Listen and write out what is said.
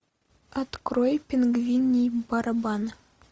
открой пингвиний барабан